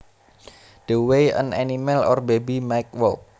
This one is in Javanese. The way an animal or baby might walk